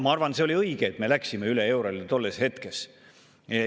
Ma arvan, et see oli õige, et me läksime üle eurole tol ajal.